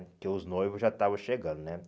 Porque os noivos já estavam chegando, né?